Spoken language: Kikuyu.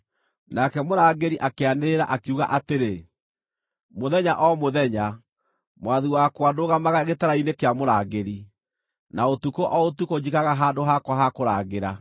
Nake mũrangĩri akĩanĩrĩra, akiuga atĩrĩ, “Mũthenya o mũthenya, mwathi wakwa, ndũgamaga gĩtara-inĩ kĩa mũrangĩri; na ũtukũ o ũtukũ njikaraga handũ hakwa ha kũrangĩra.